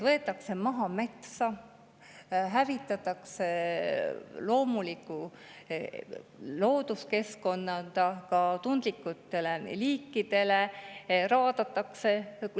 Võetakse maha metsa, hävitatakse ka tundlikutele liikidele loomulikku looduskeskkonda, raadatakse.